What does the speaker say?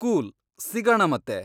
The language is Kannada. ಕೂಲ್, ಸಿಗಣ ಮತ್ತೆ.